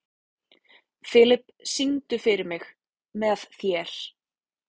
Filip, syngdu fyrir mig „Með þér“.